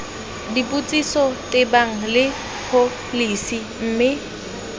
dipotsiso tebang le pholesi mme